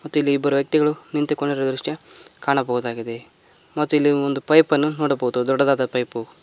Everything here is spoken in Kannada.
ಮತ್ತಿಲಿ ಇಬ್ಬರ ವ್ಯಕ್ತಿಗಳು ನಿಂತಿಕೊಂಡಿರುವ ದೃಶ್ಯ ಕಾಣಬಹುದಾಗಿದೆ ಮತ್ತು ಇಲ್ಲಿ ಒಂದ ಪೈಪ್ ಅನ್ನು ನೋಡಬಹುದು ದೊಡ್ಡದಾದ ಪೈಪು--